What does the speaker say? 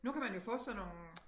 Nu kan man jo få sådan nogle